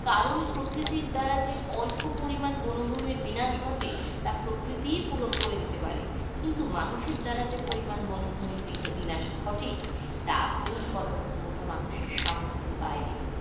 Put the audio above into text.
কারন প্রকৃতির দ্বারা যে অল্প পরিমাণ বনভূমির বিনাশ ঘটে তা প্রকৃতি পুরণ করে দিতে পারে. কিন্তু মানুষের দ্বারা যে বনভূমির বিনাশ ঘটে তা পুরণ করার ক্ষমতা মানুষের সামর্থের বাইরে,